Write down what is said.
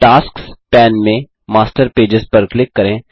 tasks pane में master pages पर click करें